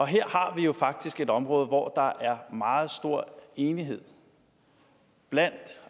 her har vi jo faktisk et område hvor der er meget stor enighed blandt